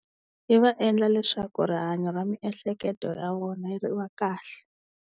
Yi va endla leswaku rihanyo ra miehleketo ra vona ri va kahle.